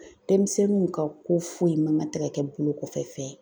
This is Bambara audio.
Denmisɛnninw ka ko foyi man kan tɛ ka kɛ bolo kɔfɛ fɛn ye